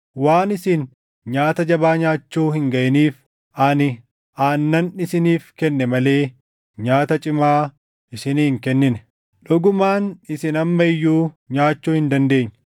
Waan isin nyaata jabaa nyaachuu hin gaʼiniif ani aannan isiniif kenne malee nyaata cimaa isinii hin kennine. Dhugumaan isin amma iyyuu nyaachuu hin dandeenye.